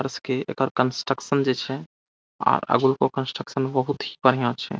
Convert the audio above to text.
और इसके एकर कंस्ट्रक्शन जे छै आर अगलुको कंस्ट्रक्शन बहुत बढ़िया छै।